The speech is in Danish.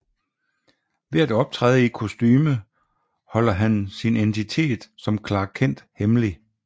Ved at optræde i et kostume holder han sin identitet som Clark Kent hemmelig